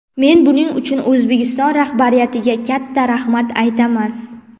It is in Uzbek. Men buning uchun O‘zbekiston rahbariyatiga katta rahmat aytaman.